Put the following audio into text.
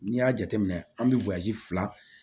N'i y'a jateminɛ an bɛ fila